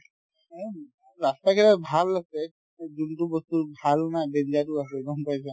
ৰাস্তাবিলাক ভাল আছে যোনতো বস্তু ভাল না danger ৰো আছে